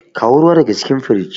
kawo ruwa daga cikin fridge